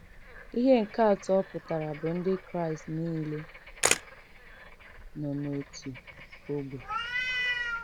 Ihe nke atọ ọ pụtara bụ Ndị Kraịst nile nọ n’otu ógbè.